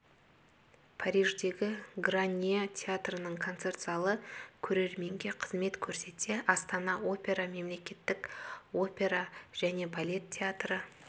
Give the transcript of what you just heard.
париждегі гарнье театрының концерт залы көрерменге қызмет көрсетсе астана опера мемлекеттік опера және балет театры